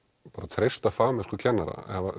treysta fagmennsku kennara